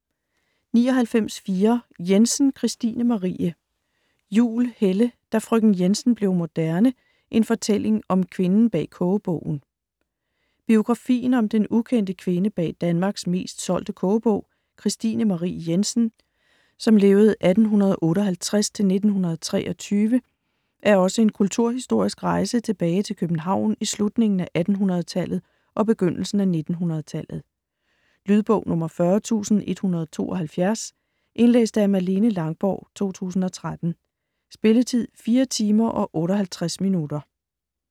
99.4 Jensen, Kristine Marie Juhl, Helle: Da frøken Jensen blev moderne: en fortælling om kvinden bag kogebogen Biografien om den ukendte kvinde bag Danmarks mest solgte kogebog, Kristine Marie Jensen (1858-1923), er også en kulturhistorisk rejse tilbage København i slutningen af 1800-tallet og begyndelsen af 1900-tallet. Lydbog 40172 Indlæst af Malene Langborg, 2013. Spilletid: 4 timer, 58 minutter.